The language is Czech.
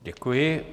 Děkuji.